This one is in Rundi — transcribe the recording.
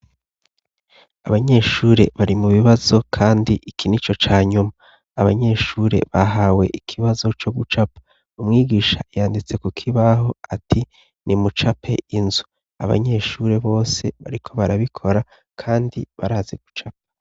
Abanyeshure bari mu bibazo kandi iki nico ca nyuma, abanyeshure bahawe ikibazo co gucapa umwigisha yanditse kukibaho ati nimucape inzu, abanyeshure bose bariko barabikora kandi barazi gucapa.